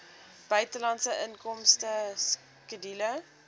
buitelandse inkomste skedule